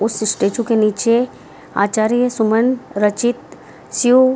उस स्टेचू के नीचे आचार्य सुमन रचित शिव --